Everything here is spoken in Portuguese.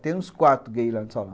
Até uns quatro gays lá no Salão.